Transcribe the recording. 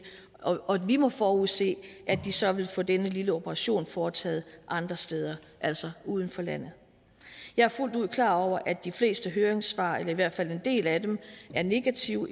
og at vi må forudse at de så vil få denne lille operation foretaget andre steder altså uden for landet jeg er fuldt ud klar over at de fleste høringssvar eller i hvert fald en del af dem er negative